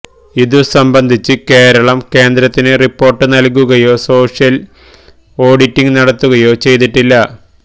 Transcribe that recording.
ഇതുസംബന്ധിച്ച് കേരളം കേന്ദ്രത്തിന് റിപ്പോര്ട്ട് നല്കുകയോ സോഷ്യല് ഓഡിറ്റ് നടത്തുകയോ ചെയ്തിട്ടില്ല